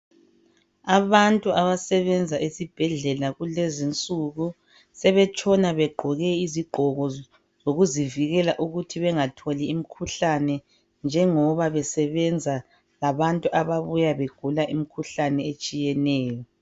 Abantu abasebenza esibhedlela kulezinsuku sebetshona begqoke izigqoko zokuzivikela ukuthi bengatholi imikhuhlane njengoba besebenza labantu ababuya begula imikhuhlane etshiyeneyo